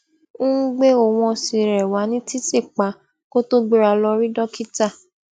n gbe ohun ọsin re wa ni titi pa kó tó gbera lọ rí dókítà